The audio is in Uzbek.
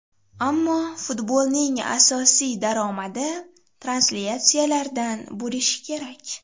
Ammo futbolning asosiy daromadi translyatsiyalardan bo‘lishi kerak.